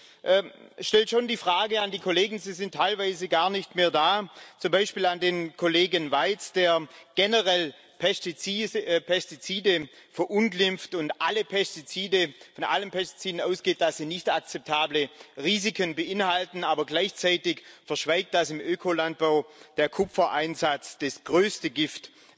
Ich wende mich hier an die Kollegen sie sind teilweise gar nicht mehr da zum Beispiel an den Kollegen Waitz, der generell Pestizide verunglimpft und bei allen Pestiziden davon ausgeht, dass sie nicht akzeptable Risiken beinhalten, aber gleichzeitig verschweigt, dass im Ökolandbau der Kupfereinsatz das größte Gift